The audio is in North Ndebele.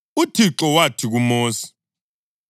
UThixo wathi kuMosi,